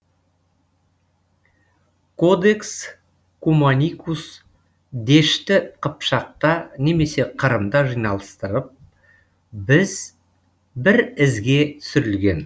кодекс куманикус дешті қыпшақта немесе қырымда жинастырылып біз бір ізге түсірілген